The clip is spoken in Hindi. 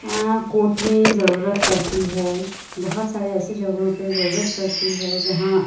हां कोर्ट में जरूरत पड़ती हैं ब होत सारे ऐसे जगहों पे जरूरी पड़ती है जहां--